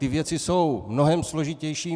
Ty věci jsou mnohem složitější.